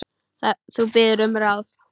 Þú biður um ráð.